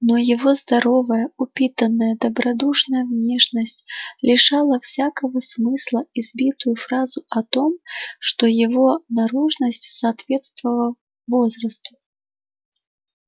но его здоровая упитанная добродушная внешность лишала всякого смысла избитую фразу о том что его наружность соответствовав возрасту